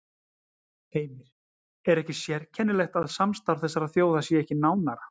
Heimir: Er ekki sérkennilegt að samstarf þessara þjóða sé ekki nánara?